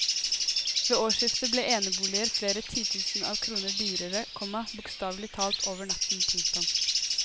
Ved årsskiftet ble eneboliger flere titusener av kroner dyrere, komma bokstavelig talt over natten. punktum